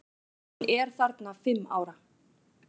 Hún er þarna fimm ára.